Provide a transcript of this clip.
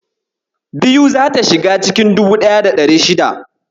biyu zata shiga cikin 1600.